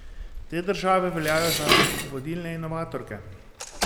Te države veljajo za vodilne inovatorke.